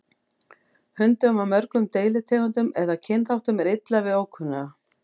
Hundum af mörgum deilitegundum eða kynþáttum er illa við ókunnuga.